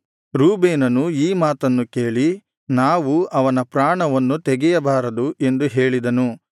ರೂಬೇನನು ಈ ಮಾತನ್ನು ಕೇಳಿ ನಾವು ಅವನ ಪ್ರಾಣವನ್ನು ತೆಗೆಯಬಾರದು ಎಂದು ಹೇಳಿದನು